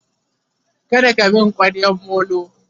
kada ka min kwaryan Molo!